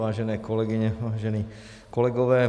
Vážené kolegyně, vážení kolegové.